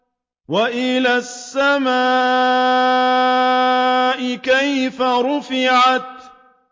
وَإِلَى السَّمَاءِ كَيْفَ رُفِعَتْ